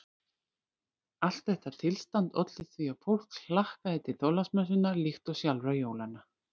Allt þetta tilstand olli því að fólk hlakkaði til Þorláksmessunnar líkt og sjálfra jólanna.